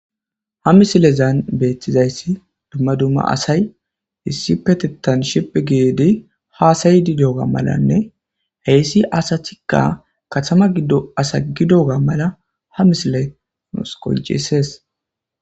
Ha misilezan beetizays dumma dumma asay issipetethan shiphi gid hasa'ishe diyoga malanne heysi asatika katama gido asa gididdoga mala ha misiley nuusi qoncises